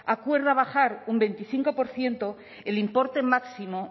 acuerda bajar un veinticinco por ciento el importe máximo